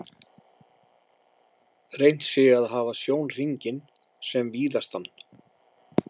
Reynt sé að hafa sjónhringinn sem víðastan.